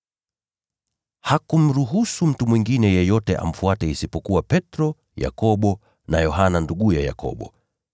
Hakumruhusu mtu mwingine yeyote amfuate isipokuwa Petro, Yakobo na Yohana, nduguye Yakobo.